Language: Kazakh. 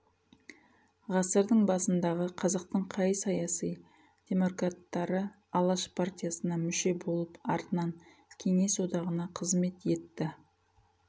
ғасырдың басындағы қазақтың қай саясый демократтары алаш партиясына мүше болып артынан қеңес одағына қызмет етті